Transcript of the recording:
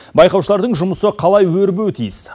байқаушылардың жұмысы қалай өрбуі тиіс